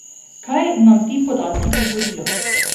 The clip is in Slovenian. Kaj nam ti podatki govorijo?